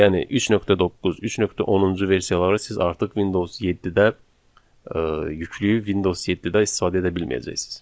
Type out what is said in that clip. Yəni 3.9, 3.10-cu versiyaları siz artıq Windows 7-də yükləyib Windows 7-də istifadə edə bilməyəcəksiniz.